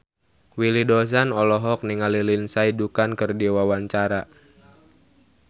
Willy Dozan olohok ningali Lindsay Ducan keur diwawancara